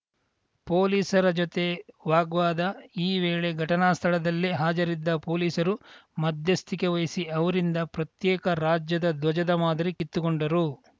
ಪೊಲೀಸರ ಜೊತೆ ವಾಗ್ವಾದ ಈ ವೇಳೆ ಘಟನಾ ಸ್ಥಳದಲ್ಲೇ ಹಾಜರಿದ್ದ ಪೊಲೀಸರು ಮಧ್ಯಸ್ಥಿಕೆ ವಹಿಸಿ ಅವರಿಂದ ಪ್ರತ್ಯೇಕ ರಾಜ್ಯದ ಧ್ವಜದ ಮಾದರಿ ಕಿತ್ತುಕೊಂಡರು